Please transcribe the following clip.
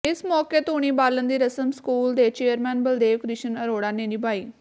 ਇਸ ਮੌਕੇ ਧੂਣੀ ਬਾਲਣ ਦੀ ਰਸਮ ਸਕੂਲ ਦੇ ਚੇਅਰਮੈਨ ਬਲਦੇਵ ਕਿ੍ਸ਼ਨ ਅਰੋੜਾ ਨੇ ਨਿਭਾਈ